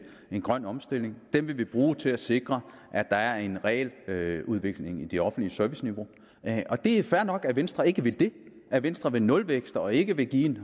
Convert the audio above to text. en grøn omstilling vi vil bruge dem til at sikre at der er en reel udvikling i det offentlige serviceniveau og det er fair nok at venstre ikke vil det at venstre vil have nulvækst og ikke vil give en